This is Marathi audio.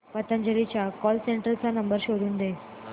पतंजली च्या कॉल सेंटर चा नंबर शोधून दे